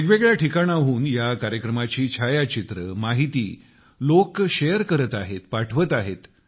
वेगवेगळ्या ठिकाणाहून या कार्यक्रमांची छायाचित्रे माहिती लोक शेअर करत आहेत पाठवत आहेत